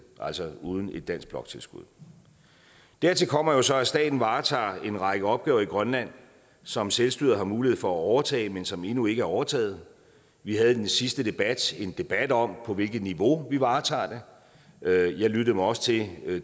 altså uden et dansk bloktilskud dertil kommer så at staten varetager en række opgaver i grønland som selvstyret har mulighed for at overtage men som endnu ikke er overtaget vi havde i den sidste debat en debat om på hvilket niveau vi varetager det og jeg lyttede også til